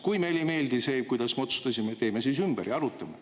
Kui meile ei meeldi see, kuidas me otsustasime, teeme siis ümber ja arutame.